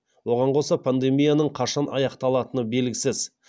оған қоса пандемияның қашан аяқталатыны белгісіз